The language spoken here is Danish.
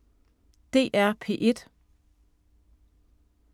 DR P1